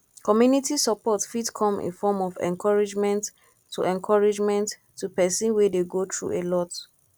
community support fit come in form of encouragement to encouragement to person wey dey go through a lot